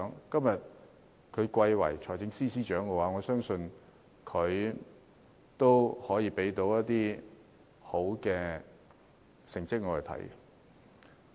今天他貴為財政司司長，我相信他可以向我們交出好成績。